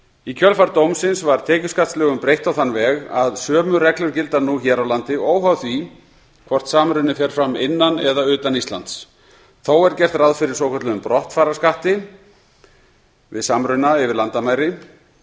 í kjölfar dómsins var tekjuskattslögum breytt á þann veg að sömu reglur gilda nú hér á landi óháð því hvort samruni fer fram innan eða utan íslands þó er gert ráð fyrir svokölluðum brottfararskatti við samruna yfir landamæri